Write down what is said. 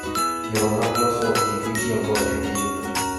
Yore mag loso gik mitiyogo e pith